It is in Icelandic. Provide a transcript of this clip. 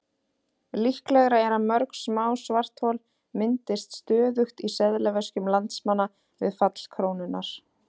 Líklegra er að mörg smá svarthol myndist stöðugt í seðlaveskjum landsmanna við fall krónunnar.